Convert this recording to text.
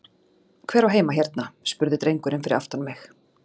Hver á heima hérna? spurði drengurinn fyrir aftan mig?